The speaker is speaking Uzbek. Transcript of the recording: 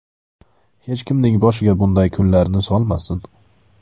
Hech kimning boshiga bunday kunlarni solmasin.